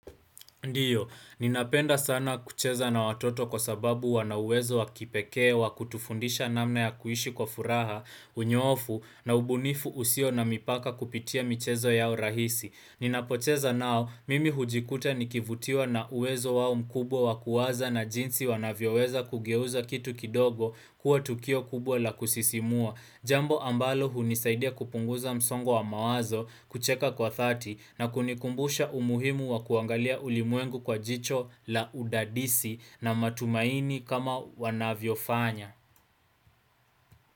Ndiyo, ninapenda sana kucheza na watoto kwa sababu wana uwezo wakipekee wa kutufundisha namna ya kuishi kwa furaha, unyoofu, na ubunifu usio na mipaka kupitia michezo yao rahisi. Ninapocheza nao, mimi hujikuta nikivutiwa na uwezo wao mkubwa wakuwaza na jinsi wanavyoweza kugeuza kitu kidogo kuwa tukio kubwa la kusisimua. Jambo ambalo hunisaidia kupunguza msongo wa mawazo kucheka kwa dhati na kunikumbusha umuhimu wa kuangalia ulimwengu kwa jicho la udadisi na matumaini kama wanavyo fanya.